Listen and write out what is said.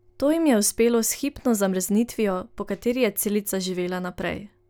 To jim je uspelo s hipno zamrznitvijo, po kateri je celica živela naprej.